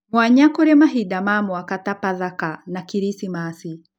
mwanya kũrĩ mahinda ma mwaka ta pathaka, na kiricimaci